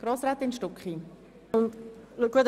Grossrätin Stucki hat das Wort.